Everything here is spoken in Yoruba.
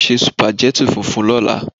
Se sùpàgẹ́tì funfun lọ́la.